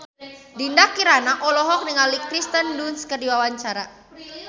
Dinda Kirana olohok ningali Kirsten Dunst keur diwawancara